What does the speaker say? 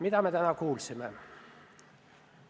Mida me täna kuulsime?